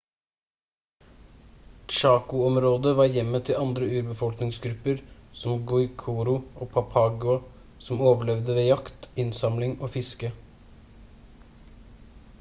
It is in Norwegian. chaco-området var hjemmet til andre urbefolkningsgrupper som guaycurú og payaguá som overlevde ved jakt innsamling og fiske